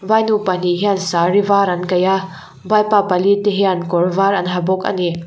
pahnih hian sari var an kaih a vaipa pali te hian kawr var an ha bawk ani.